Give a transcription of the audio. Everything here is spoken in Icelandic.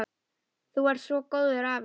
Þú varst svo góður afi.